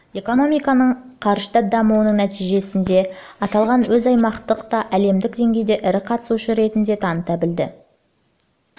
экономиканың қарыштап дамуының нәтижесінде аталған ел өзін аймақтық та әлемдік деңгейде де ірі қатысушы ретінде таныта білді